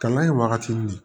Kalan ye wagati min